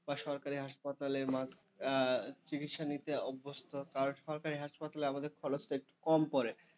সরকারি হাসপাতালে চিকিৎসা নিতে অভ্যস্ত কারণ সরকারি হাসপাতালে আমাদের খরচটা একটু কম করে।